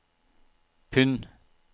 pund